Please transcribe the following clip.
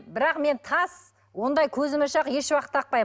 бірақ мен тас ондай көзмоншақ ешуақытта тақпаймын